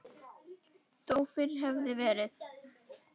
Þó fyrr hefði verið.